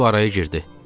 Stiv araya girdi.